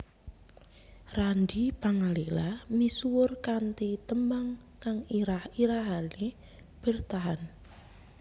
Randy Pangalila misuwur kanthi tembang kang irah irahané Bertahan